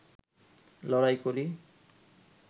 লড়াই করি